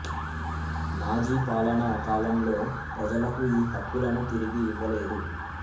Nazi పాలనా కాలంలో ప్రజలకు ఈ హక్కులను తిరిగి ఇవ్వలేదు